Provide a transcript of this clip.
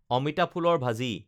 অমিতা ফুলৰ ভাজি